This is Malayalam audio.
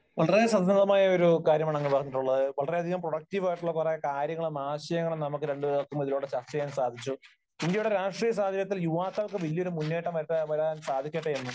വളരെ സംഗതമായ ഒരു കാര്യമാണ് അങ്ങ് പറഞ്ഞിട്ടുള്ളത്. വളരെ പ്രൊഡക്ടീവ് ആയിട്ടുള്ള കുറെയേറെ കാര്യങ്ങളും ആശയങ്ങളും നമുക്ക് രണ്ടുപേർക്കും ഇതിലൂടെ ചർച്ച ചെയ്യാൻ സാധിച്ചു. ഇന്ത്യയുടെ രാഷ്ട്രീയ സാഹചര്യത്തിൽ യുവാക്കൾക്ക് വലിയ ഒരു മുന്നേറ്റം വരുത്താൻ സാധിക്കട്ടെ എന്നും